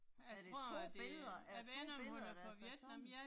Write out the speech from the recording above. Er det 2 billeder, er det 2 billeder der er sat sammen?